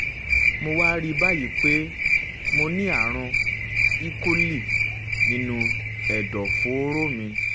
mo wá rí i báyìí pé mo ní ààrùn e-coli nínú ẹ̀dọ̀fóró mi